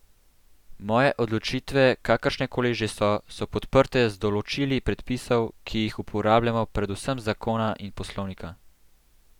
Moje odločitve, kakršnekoli že so, so podprte z določili predpisov, ki jih uporabljamo, predvsem zakona in poslovnika.